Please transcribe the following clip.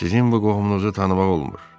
Sizin bu qohumunuzu tanımaq olmur.